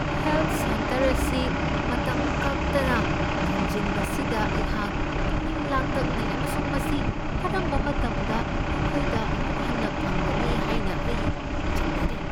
Health centre ꯑꯁꯤ ꯃꯇꯝ ꯀꯛꯇꯅ ꯊꯤꯡꯖꯤꯟꯕꯁꯤꯗ ꯑꯩꯍꯥꯛ ꯄꯨꯛꯅꯤꯡ ꯂꯥꯡꯇꯛꯅꯩ ꯑꯃꯁꯨꯡ ꯃꯁꯤ ꯀꯔꯝꯕ ꯃꯇꯝꯗ ꯑꯩꯈꯣꯏꯗ ꯑꯃꯨꯛ ꯍꯟꯅ ꯐꯪꯒꯅꯤ ꯍꯥꯏꯅ ꯑꯩ ꯆꯤꯡꯅꯔꯤ꯫